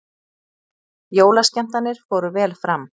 Jólaskemmtanir fóru vel fram